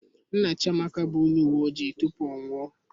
Nna Chiamaka bụ onye uwe ojii tupu ọ anwụọ